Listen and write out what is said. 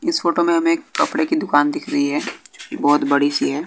इस फोटो में हमें एक कपड़े की दुकान दिख रही है जो बहुत बड़ी सी है।